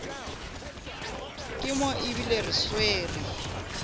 ke mo ebile re swere